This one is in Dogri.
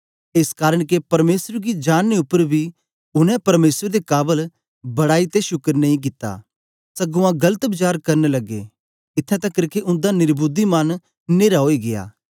एस कारन के परमेसर गी जानने उपर बी उनै परमेसर दे काबल बड़ाई ते शुकर नेई कित्ता सगुआं गलत वचार करन लगे इत्थैं तकर के उन्दा निर्बुद्धि मन न्हेरा ओई गीया